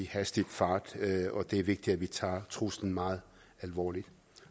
hastig fart og det er vigtigt at vi tager truslen meget alvorligt